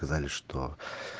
сказали что